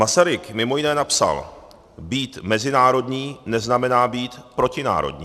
Masaryk mimo jiné napsal: Být mezinárodní, neznamená být protinárodní.